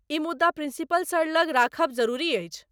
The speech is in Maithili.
ई मुद्दा प्रिंसिपल सर लग राखब जरुरी अछि।